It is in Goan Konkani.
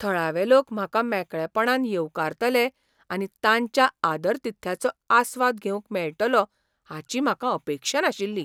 थळावे लोक म्हाका मेकळेपणान येवकारतले आनी तांच्या आदरातिथ्याचो आस्वाद घेवंक मेळटलो हाची म्हाका अपेक्षा नाशिल्ली.